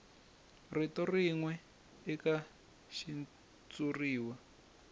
rito rin we eka xitshuriwa